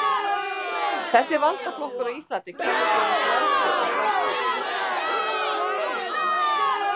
Þessi valdaflokkur á Íslandi kennir sig við frelsi og sjálfstæði.